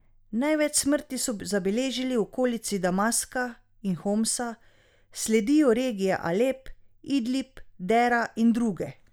Največ smrti so zabeležili v okolici Damaska in Homsa, sledijo regije Alep, Idlib, Dera in druge.